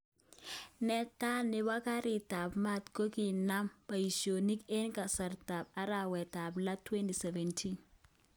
Netaa nepo garit ap mat kokiname paishonik eng kasartap arawet ap lo 2017